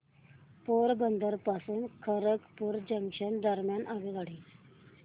पोरबंदर पासून खरगपूर जंक्शन दरम्यान आगगाडी